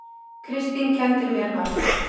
Kristín kenndi mér margt.